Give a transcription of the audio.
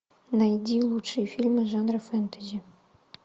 найди лучшие фильмы жанра фэнтези